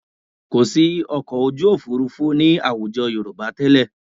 Kò sí ọkọ̀ ojú òfuurufú ní àwùjọ Yorùbá tẹ́lẹ̀